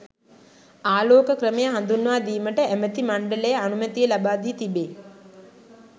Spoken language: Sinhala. ආලෝක ක්‍රමය හදුන්වා දීමට ඇමැති මණ්ඩලය අනුමැතිය ලබාදී තිබේ.